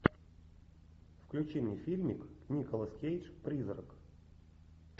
включи мне фильмик николас кейдж призрак